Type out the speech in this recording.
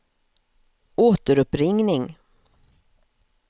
återuppringning